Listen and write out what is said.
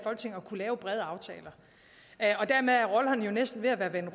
lave brede aftaler dermed er rollerne næsten ved at være